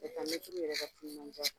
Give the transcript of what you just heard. mɛtiriw yɛrɛ ka timinanja.